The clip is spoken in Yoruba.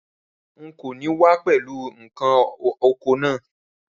Rárá, n kò ní wá pẹ̀lú ǹkan oko naa